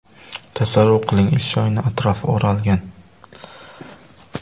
Tasavvur qiling, ish joyining atrofi o‘ralgan.